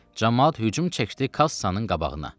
Camaat hücum çəkdi kassanın qabağına.